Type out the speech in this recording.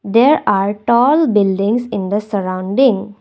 There are tall buildings in the surrounding.